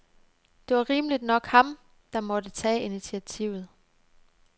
Det var rimeligt nok ham, der måtte tage initiativet.